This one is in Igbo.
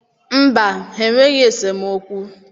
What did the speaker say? Mba, ha enweghị esemokwu.